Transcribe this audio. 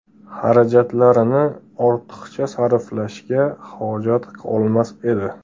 xarajatlarini ortiqcha sarflashga hojat qolmas edi.